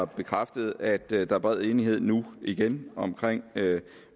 bekræftet at der der er bred enighed nu igen om